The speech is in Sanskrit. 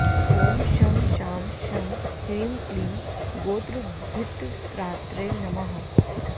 ॐ शं शां षं ह्रीं क्लीं गोत्रभित्त्रात्रे नमः